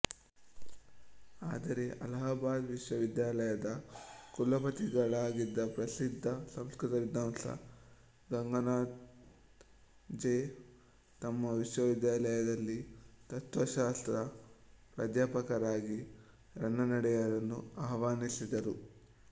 ಆದರೆ ಅಲಹಾಬಾದ್ ವಿಶ್ವವಿದ್ಯಾಲಯದ ಕುಲಪತಿಗಳಾಗಿದ್ದ ಪ್ರಸಿದ್ಧ ಸಂಸ್ಕೃತ ವಿದ್ವಾಂಸ ಗಂಗಾನಾಥ ಝಾ ತಮ್ಮ ವಿಶ್ವವಿದ್ಯಾಲಯದಲ್ಲಿ ತತ್ತ್ವಶಾಸ್ತ್ರ ಪ್ರಾಧ್ಯಾಪಕರಾಗಿ ರಾನಡೆಯವರನ್ನು ಆಹ್ವಾನಿಸಿದರು